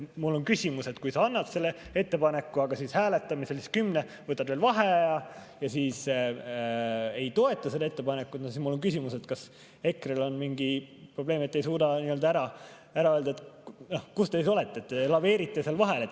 Mul on küsimus, et kui te annate selle ettepaneku, hääletamisel võtate veel vaheaja ja siis ei toeta seda ettepanekut, siis kas EKRE-l on mingi probleem, et ei suuda ära öelda, kus te siis olete, te laveerite seal vahel.